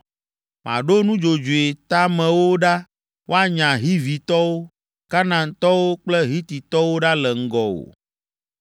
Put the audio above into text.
Maɖo nudzodzoe teamewo ɖa woanya Hivitɔwo, Kanaantɔwo kple Hititɔwo ɖa le ŋgɔwò.